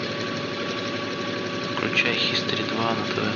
включай хистори два на тв